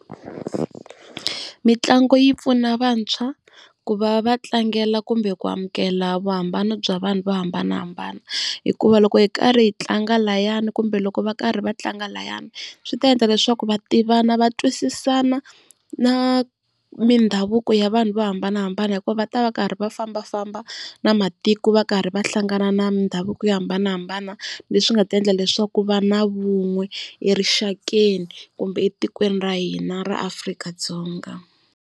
Mitlangu yi pfuna vantshwa ku va va tlangela kumbe ku amukela vuhambano bya vanhu vo hambanahambana, hikuva loko hi karhi hi tlanga lahayani kumbe loko va karhi va tlanga liyani swi ta endla leswaku va tivana va twisisana na mindhavuko ya vanhu vo hambanahambana. Hikuva va ta va karhi va fambafamba na matiko va karhi va hlangana na mindhavuko yo hambanahambana leswi nga ta endla leswaku ku va na vun'we erixakeni kumbe etikweni ra hina ra Afrika-Dzonga.